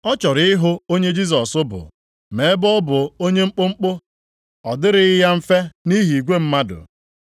Ọ chọrọ ịhụ onye Jisọs bụ ma ebe ọ bụ onye mkpụmkpụ, ọ dịrịghị ya mfe nʼihi igwe mmadụ.